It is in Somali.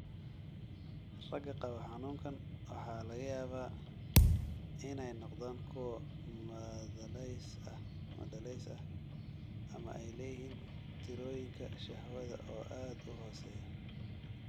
Ragga qaba xanuunkaan waxaa laga yaabaa inay noqdaan kuwo madhalays ah ama ay leeyihiin tirooyinka shahwada oo aad u hooseeya.